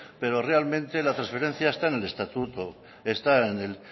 pero realmente las transferencias están en el estatuto está en el